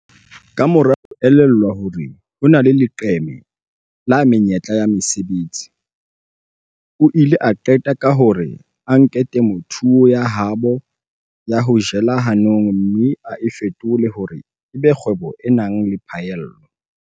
Kamora ho elellwa hore ho na le leqeme la menyetla ya mesebetsi, o ile a qeta ka hore a nke temothuo ya habo ya ho jela hanong mme a e fetole hore e be kgwebo e nang le phaello.